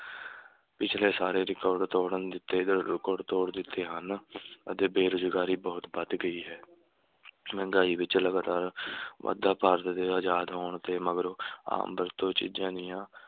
ਪਿਛਲੇ ਸਾਰੇ record ਤੋੜਨ ਦਿੱਤੇ ਅਹ record ਤੋੜ ਦਿੱਤੇ ਹਨ ਅਤੇ ਬੇਰੁਜ਼ਗਾਰੀ ਬਹੁਤ ਵੱਧ ਗਈ ਹੈ ਮਹਿੰਗਾਈ ਵਿੱਚ ਲਗਾਤਾਰ ਵਾਧਾ ਭਾਰਤ ਦੇ ਆਜ਼ਾਦ ਹੋਣ ਦੇ ਮਗਰੋਂ ਆਮ ਵਰਤੋਂ ਚੀਜ਼ਾਂ ਦੀਆਂ